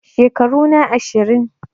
Shekaru na ashirin